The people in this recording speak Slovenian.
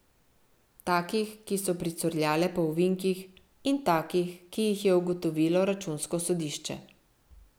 Takih, ki so pricurljale po ovinkih, in takih, ki jih je ugotovilo računsko sodišče.